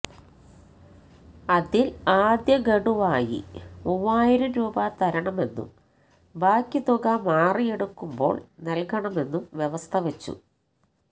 അതിൽ ആദ്യ ഗഡുവായി മൂവായിരം രൂപ തരണമെന്നും ബാക്കി തുക മാറിയെടുക്കുമ്പോൾ നൽകണമെന്നും വ്യവസ്ഥ വച്ചു